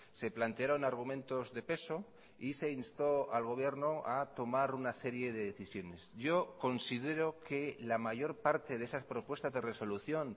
se plantearon argumentos de peso y se instó al gobierno a tomar una serie de decisiones yo considero que la mayor parte de esas propuestas de resolución